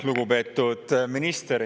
Lugupeetud minister!